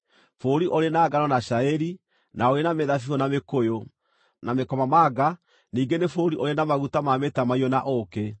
bũrũri ũrĩ na ngano na cairi, na ũrĩ na mĩthabibũ na mĩkũyũ, na mĩkomamanga, ningĩ nĩ bũrũri ũrĩ na maguta ma mĩtamaiyũ na ũũkĩ;